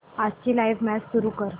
आजची live match सुरू कर